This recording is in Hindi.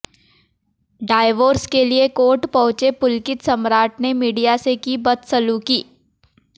डायवोर्स के लिए कोर्ट पहुंचे पुलकित सम्राट ने मीडिया से की बदसलूक़ी